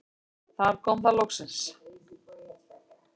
Þar kom það loksins.